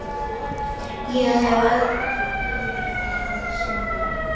Ég hef öðru að sinna.